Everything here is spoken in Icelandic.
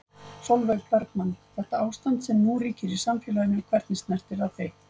Sólveig Bergmann: Þetta ástand sem nú ríkir í samfélaginu, hvernig snertir það þig?